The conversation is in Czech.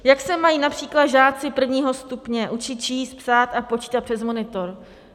Jak se mají například žáci prvního stupně učit číst, psát a počítat přes monitor?